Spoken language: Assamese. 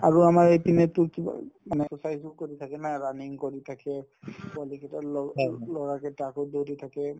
আৰু আমাৰ এই পিনে তোৰ কিবা উম মানে exercise ও কৰি থাকে না running কৰি থাকে পোৱালিকেইটাৰ লগতোৰ ল'ৰাকেইটা আকৌ দৌৰি থাকে